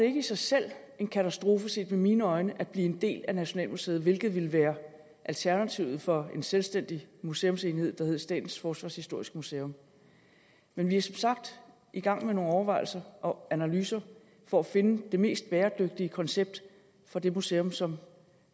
ikke i sig selv en katastrofe set med mine øjne at blive en del af nationalmuseet hvilket ville være alternativet for en selvstændig museumsenhed som statens forsvarshistoriske museum men vi er som sagt i gang med nogle overvejelser og analyser for at finde det mest bæredygtige koncept for det museum som